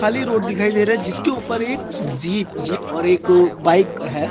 खाली रोड दिखाई दे रहा है जिसके ऊपर एक जी जीप और एक बाइक है।